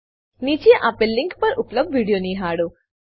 નીચે આપેલ લીંક પર ઉપલબ્ધ વિડીઓ નિહાળો